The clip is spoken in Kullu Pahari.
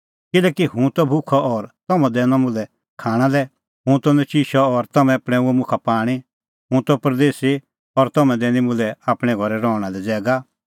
किल्हैकि हुंह त भुखअ और तम्हैं दैनअ मुल्है खाणां लै हुंह त नचिशअ और तम्हैं पणैंऊंअ मुखा पाणीं हुंह त परदेसी और तम्हैं दैनी मुल्है आपणैं घरै रहणा लै ज़ैगा